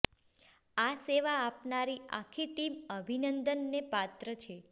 આ સેવા આપનારી આખી ટીમ અભિનંદન ને પાત્ર છે